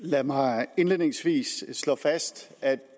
lad mig indledningsvis slå fast at